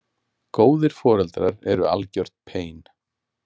Góðir foreldrar eru algjört pein.